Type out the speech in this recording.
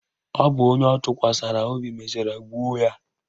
Ọ bụ onye ọ tụkwasara obi mechara gbuo ya.